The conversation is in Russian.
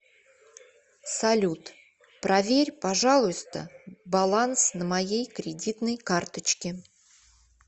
салют проверь пожалуйста баланс на моей кредитной карточке